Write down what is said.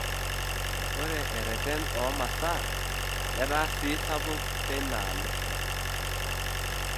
Ore erreten o masaa netaa sii sapuk teina aalo.